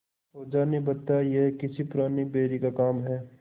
ओझा ने बताया यह किसी पुराने बैरी का काम है